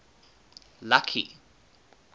lucky